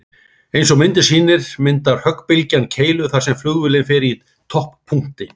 Eins og myndin sýnir myndar höggbylgjan keilu þar sem flugvélin er í topppunkti.